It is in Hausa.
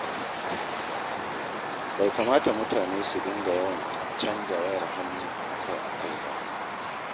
Bai kamata mutane su dinga yawan canja wayar hannu akai-akai ba.